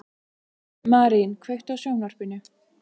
Marín, kveiktu á sjónvarpinu.